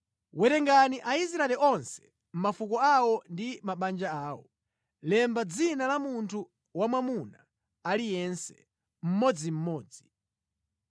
“Werengani Aisraeli onse mʼmafuko awo ndi mʼmabanja awo, lemba dzina la munthu wamwamuna aliyense, mmodzimmodzi.